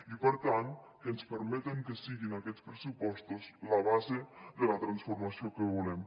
i per tant que ens permeten que siguin aquests pressupostos la base de la transformació que volem